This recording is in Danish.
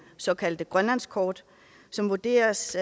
såkaldte grønlandskort som vurderes